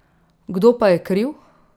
Kdo pa je kriv?